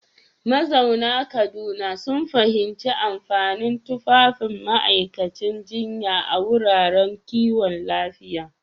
Mazauna Kaduna sun fahimci amfanin tufafin ma’aikatan jinya a wuraren kiwon lafiya.